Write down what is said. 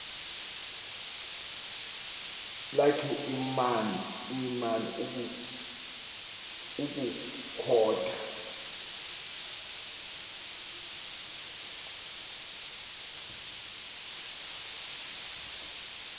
lakhe iman ukukhotha